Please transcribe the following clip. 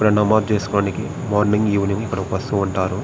ఇక్కడ నమాజ్ చేస్కోనికి మార్నింగ్ ఈవెనింగ్ ఇక్కడికి వాస్తు ఉంటారు.